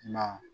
Na